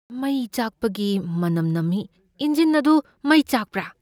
ꯃꯩ ꯆꯥꯛꯄꯒꯤ ꯃꯅꯝ ꯅꯝꯃꯤ꯫ ꯏꯟꯖꯤꯟ ꯑꯗꯨ ꯃꯩ ꯆꯥꯛꯄ꯭ꯔꯥ?